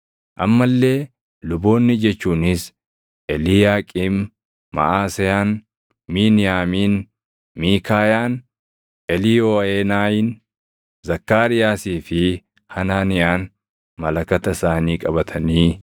amma illee luboonni jechuunis Eliiyaaqiim, Maʼaseyaan, Miiniyaamiin, Miikaayaan, Eliiyooʼeenayin, Zakkaariyaasii fi Hanaaniyaan malakata isaanii qabatanii